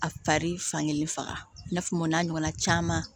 A fari fankelen faga i n'a fɔ o n'a ɲɔgɔnna caman